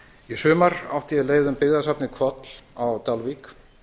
í sumar átti ég leið um byggðasafnið hvol á dalvík